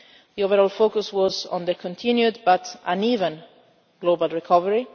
The overall focus was on the continued but uneven global recovery.